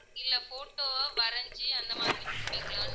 photo வ வரைஞ்சு அந்த மாதிரி கொடுப்பீங்களான்னு